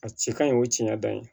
A ci ka ɲi o tiɲɛ dan ye